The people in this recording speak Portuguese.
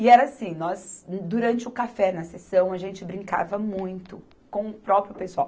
E era assim, nós, durante o café na seção, a gente brincava muito com o próprio pessoal.